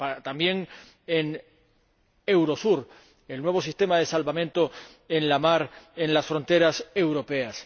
también para Eurosur, el nuevo sistema de salvamento en la mar en las fronteras europeas.